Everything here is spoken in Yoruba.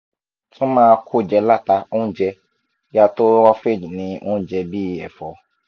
tun ma ko je lata ounje ya to roughage ni onje bi ẹfọ